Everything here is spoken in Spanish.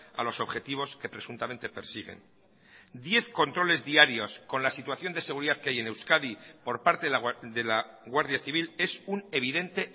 a los objetivos que presuntamente persiguen diez controles diarios con la situación de seguridad que hay en euskadi por parte de la guardia civil es un evidente